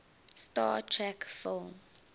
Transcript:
star trek film